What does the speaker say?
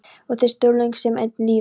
Og þeir Sturlungar sem enn lifa.